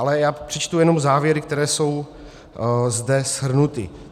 Ale já přečtu jenom závěry, které jsou zde shrnuty.